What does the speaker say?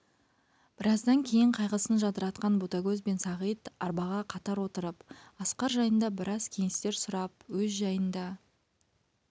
біраздан кейін қайғысын жадыратқан ботагөз бен сағит арбаға қатар отырып асқар жайында біраз кеңестер сұрап өз жайын да